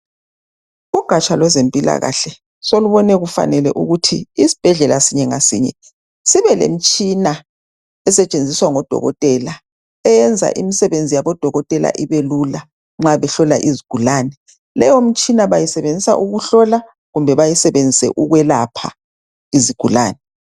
Ugaja lwezempilakahle solubone kufanele ukuthi isibhedlela sinye ngasinye sibelemtshina esetshenziswa ngodokotela eyenza imisebenzi yabo dokotela ibelula nxabehlola izigulane leyo mtshina bayisebenzisa mabehlola kumbe beselapha izigulane